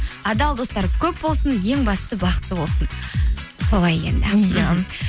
адал достары көп болсын ең бастысы бақытты болсын солай енді иә